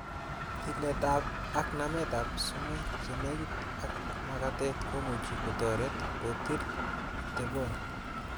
Tiletab ak nametab sumek chenekit ak makatet komuch kotoret kotil oteboni.